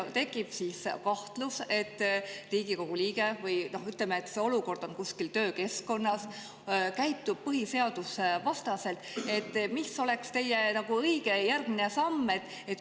Kui teil tekib kahtlus, et Riigikogu liige – või ütleme, et see olukord on kuskil töökeskkonnas – käitub põhiseadusvastaselt, siis mis oleks teie õige järgmine samm?